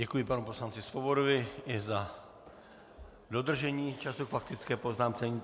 Děkuji panu poslanci Svobodovi i za dodržení času k faktické poznámce.